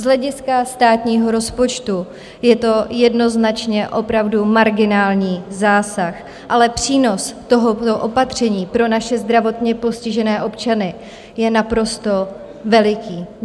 Z hlediska státního rozpočtu je to jednoznačně opravdu marginální zásah, ale přínos tohoto opatření pro naše zdravotně postižené občany je naprosto veliký.